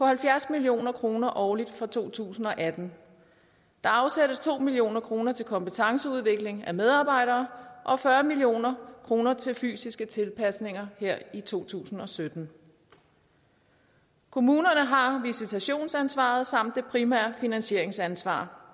halvfjerds million kroner årligt for to tusind og atten der afsættes to million kroner til kompetenceudvikling af medarbejdere og fyrre million kroner til fysiske tilpasninger her i to tusind og sytten kommunerne har har visitationsansvaret samt det primære finansieringsansvar